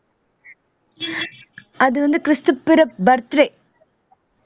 அது வந்து கிறிஸ்து பிற birthday